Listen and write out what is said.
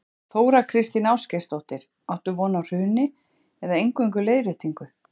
Þóra Kristín Ásgeirsdóttir: Áttu von á hruni eða eingöngu leiðréttingu?